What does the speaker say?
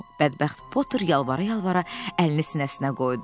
Bədbəxt Potter yalvara-yalvara əlini sinəsinə qoydu.